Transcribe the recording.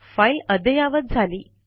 file अद्ययावत झाली